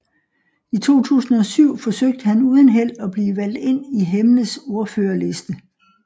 I 2007 forsøgte han uden held at blive valgt ind for Hemnes ordførerliste